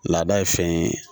Laada ye fɛn ye